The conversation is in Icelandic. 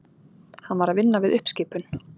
Hann var að vinna við uppskipun.